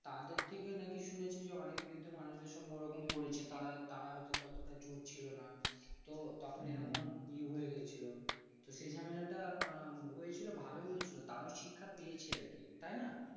তাদের থেকে নাকি শুনেছি অনেক বৃদ্ধ মানুষের সঙ্গে এরকম করেছে তারা হয়তো ততটা জোর ছিল না তো তখন কি হয়েছিল সেজন্য এটা হয়েছিল ভালই হয়েছিল তারাও শিক্ষা পেয়েছি আর কি তাই না